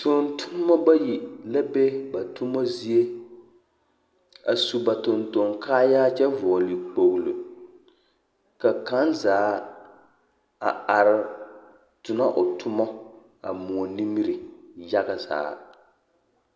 Noba bayi la be ba toma zie. A sub a tontoŋ kaayaa kyɛ vɔgele kpogolo. Ka kaŋa zaa a are tona o toma a moɔ nimiri yaga zaa.